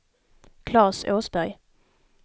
Claes Åsberg